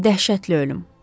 Həm də dəhşətli ölüm.